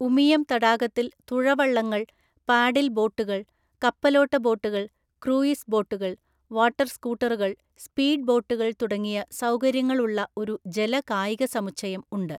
ഉമിയം തടാകത്തിൽ തുഴവള്ളങ്ങൾ, പാഡിൽ ബോട്ടുകൾ, കപ്പലോട്ട ബോട്ടുകൾ, ക്രൂയിസ് ബോട്ടുകൾ, വാട്ടർ സ്കൂട്ടറുകൾ, സ്പീഡ് ബോട്ടുകൾ തുടങ്ങിയ സൗകര്യങ്ങളുള്ള ഒരു ജല കായിക സമുച്ചയം ഉണ്ട്.